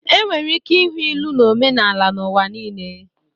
Enwere ike ịhụ ilu na omenala n'ụwa niile.